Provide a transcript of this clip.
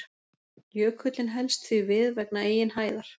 Jökullinn helst því við vegna eigin hæðar.